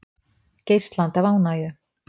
Geislandi af ánægju.